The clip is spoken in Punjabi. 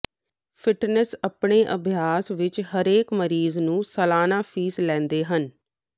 ਫਿਟਨੈਸਰ ਆਪਣੇ ਅਭਿਆਸ ਵਿਚ ਹਰੇਕ ਮਰੀਜ਼ ਨੂੰ ਸਾਲਾਨਾ ਫ਼ੀਸ ਲੈਂਦੇ ਹਨ